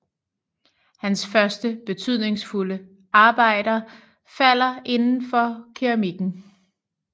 Hans første betydningsfulde arbejder falder inden for keramikken